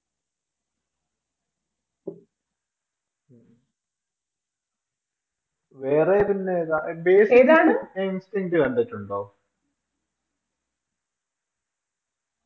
വേറെ ഇതിന്റെ ഏതാ Basic in things കണ്ടിട്ടുണ്ടോ